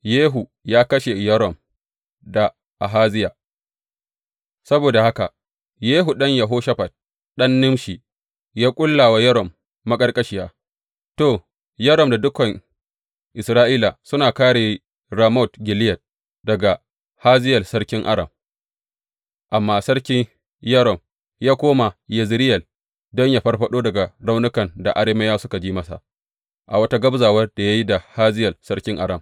Yehu ya kashe Yoram da Ahaziya Saboda haka, Yehu ɗan Yehoshafat, ɗan Nimshi, ya ƙulla wa Yoram maƙarƙashiya To, Yoram da dukan Isra’ila suna kāre Ramot Gileyad daga Hazayel sarkin Aram, amma Sarki Yoram ya koma Yezireyel don yă farfaɗo daga raunukan da Arameyawa suka ji masa a wata gabzawar da ya yi da Hazayel sarkin Aram.